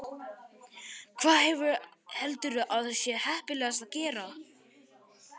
Hvað, hvað heldurðu að sé heppilegast að gera?